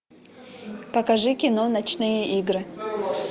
покажи кино ночные игры